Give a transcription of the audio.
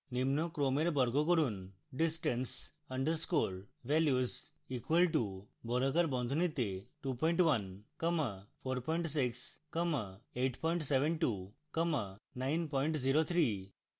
নিম্ন ক্রমের বর্গ করুন: distance underscore values equal to বর্গাকার বন্ধনীতে 21 comma 46 comma 872 comma 903